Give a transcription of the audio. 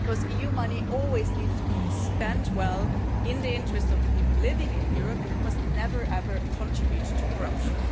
EU money always needs to be spent well and in the interests of the people living in Europe, and it must never, ever contribute to corruption.